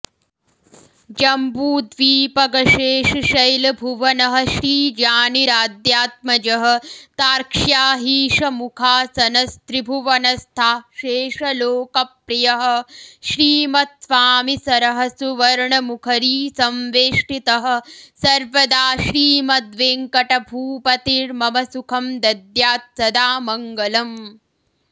जम्बूद्वीपगशेषशैलभुवनः श्रीजानिराद्यात्मजः तार्क्ष्याहीशमुखासनस्त्रिभुवनस्थाशेषलोकप्रियः श्रीमत्स्वामिसरःसुवर्णमुखरीसंवेष्टितः सर्वदा श्रीमद्वेङ्कटभूपतिर्मम सुखं दद्यात् सदा मङ्गलम्